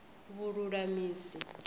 vhululamisi